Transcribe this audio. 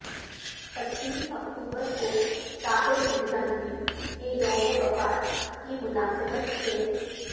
پچیس اکتوبر کو ساحر لدھیانوی کے یوم وفات کی مناسبت سے